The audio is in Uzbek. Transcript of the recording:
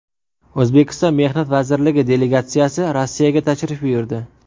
O‘zbekiston Mehnat vazirligi delegatsiyasi Rossiyaga tashrif buyurdi.